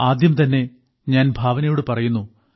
ആദ്യംതന്നെ ഞാൻ ഭാവനയോട് പറയുന്നു